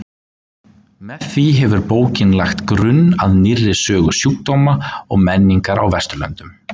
Með því hefur bókin lagt grunn að nýrri sögu sjúkdóma og menningar á Vesturlöndum.